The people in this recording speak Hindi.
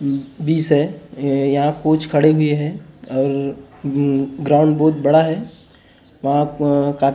वीस है यहाँ कोच खड़े हुए है और उम ग्राउंड बहुत बड़ा है वहाँ कात --